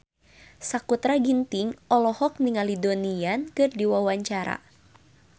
Sakutra Ginting olohok ningali Donnie Yan keur diwawancara